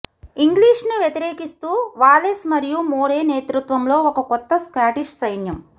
ఇంగ్లీష్ను వ్యతిరేకిస్తూ వాలెస్ మరియు మోరే నేతృత్వంలో ఒక కొత్త స్కాటిష్ సైన్యం